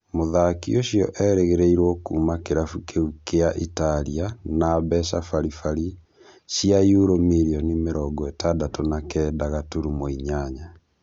Mũthaki ũcio erĩgĩrĩirwo kuma kĩrabu kĩu kia Italia na mbeca bari bari cia yuro mirioni mĩrongo ĩtandatũ na kenda gaturumo inyanya